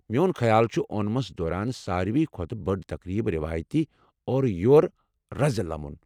میون خیال چھُ اونمَس دوران ساروٕے کھۄتہٕ بٔڈ تقریب روایتی اورٕ یور رزِ لمُن ۔